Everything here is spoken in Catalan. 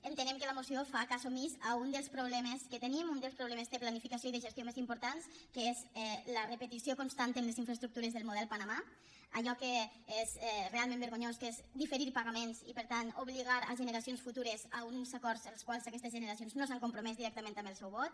entenem que la moció fa cas omís d’un dels problemes que tenim un dels problemes de planificació i de gestió més importants que és la repetició constant en les infraestructures del model panamà allò que és realment vergonyós que és diferir pagaments i per tant obligar a generacions futures a uns acords als quals aquestes generacions no s’han compromès directament amb el seu vot